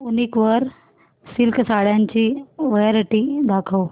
वूनिक वर सिल्क साड्यांची वरायटी दाखव